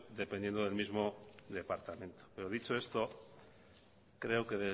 dependiendo del mismo departamento pero dicho esto creo que